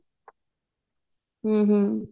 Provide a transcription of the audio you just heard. ਹਮ ਹਮ